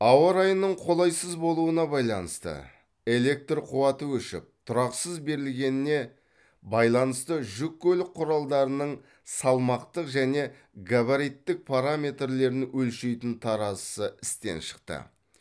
ауа райының қолайсыз болуына байланысты электр қуаты өшіп тұрақсыз берілгеніне байланысты жүк көлік құралдарының салмақтық және габариттік параметрлерін өлшейтін таразысы істен шықты